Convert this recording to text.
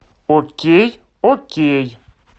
окей окей